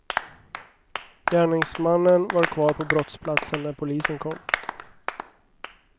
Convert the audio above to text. Gärningsmannen var kvar på brottsplatsen när polisen kom.